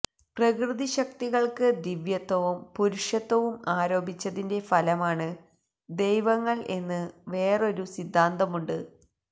പ്രകൃതിശക്തികൾക്ക് ദിവ്യത്വവും പുരുഷത്വവും ആരോപിച്ചതിന്റെ ഫലമാണ് ദൈവങ്ങൾ എന്ന് വേറൊരു സിദ്ധാന്തമുണ്ട്